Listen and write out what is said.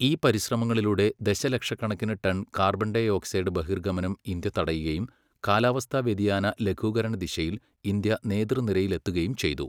ഈ പരിശ്രമങ്ങളിലൂടെ ദശലക്ഷക്കണക്കിന് ടൺ കാർബൺഡയോക്സൈഡ് ബഹിർഗമനം ഇന്ത്യ തടയുകയും കാലാവസ്ഥ വ്യതിയാന ലഘൂകരണ ദിശയിൽ ഇന്ത്യ നേതൃനിരയിലെത്തുകയും ചെയ്തു.